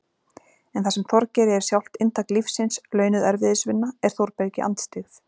En það sem Þorgeiri er sjálft inntak lífsins- launuð erfiðisvinna- er Þórbergi andstyggð.